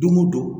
Don o don